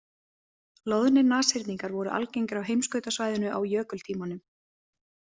Loðnir nashyrningar voru algengir á heimskautasvæðinu á jökultímanum.